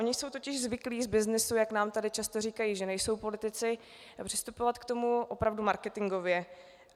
Oni jsou totiž zvyklí z byznysu, jak nám tady často říkají, že nejsou politici, přistupovat k tomu opravdu marketingově.